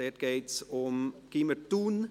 Dabei geht es um das Gymnasium Thun.